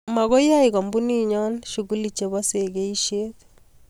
Makoi yai kampunit nyoo shukuli chepoo sekeisiet